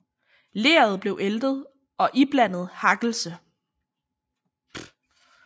Leret bliver æltet og iblandet hakkelse